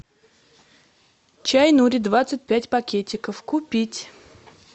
чай нури двадцать пять пакетиков купить